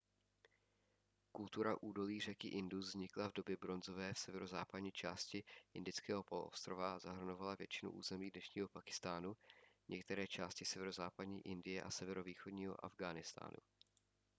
kultura údolí řeky indus vznikla v době bronzové v severozápadní části indického poloostrova a zahrnovala většinu území dnešního pákistánu některé části severozápadní indie a severovýchodního afghánistánu